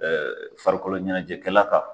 Ɛɛ farikolo ɲɛnɛjɛkɛla kan